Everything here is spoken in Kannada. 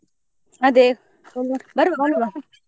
ಅದೇ ಬರುವ .